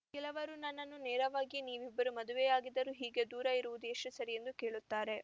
ಕೆಲವರು ನನ್ನನ್ನು ನೇರವಾಗಿಯೇ ನೀವಿಬ್ಬರೂ ಮದುವೆಯಾಗಿದ್ದರೂ ಹೀಗೆ ದೂರ ಇರುವುದು ಎಷ್ಟುಸರಿ ಎಂದು ಕೇಳುತ್ತಾರೆ